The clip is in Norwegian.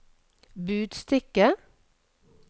budstikke